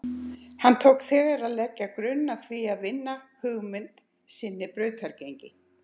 Hann tók þegar að leggja grunn að því að vinna hugmynd sinni brautargengi.